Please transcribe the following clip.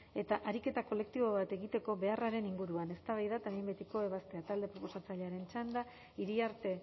eta ariketa kolektibo bat egiteko beharraren inguruan eztabaida eta behin betiko ebaztea talde proposatzailearen txanda iriarte